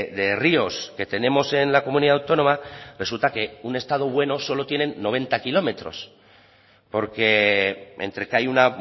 de ríos que tenemos en la comunidad autónoma resulta que un estado bueno solo tienen noventa kilómetros porque entre que hay un